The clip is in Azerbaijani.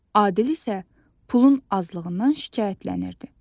Adil isə pulun azlığından şikayətlənirdi.